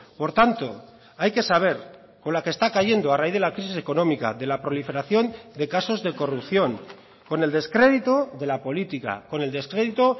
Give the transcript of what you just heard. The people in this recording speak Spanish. por tanto hay que saber con la que está cayendo a raíz de la crisis económica de la proliferación de casos de corrupción con el descrédito de la política con el descrédito